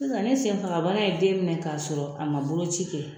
Sisan ni senfaga bana ye den minɛ k'a sɔrɔ a man boloci kɛ